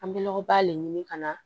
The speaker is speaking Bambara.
An bɛ lɔgɔba de ɲini ka na